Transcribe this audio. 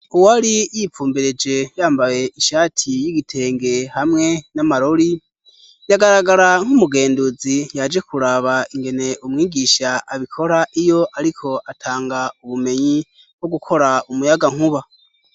Uwo ari yipfumbereje yambaye inshati y'igitenge hamwe n'amarori yagaragara nk'umugenduzi yaje kuraba ingene umwigisha abikora iyo, ariko atanga ubumenyi wo gukora umuyaga nkuba.